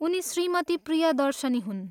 उनी श्रीमती प्रियदर्शिनी हुन्।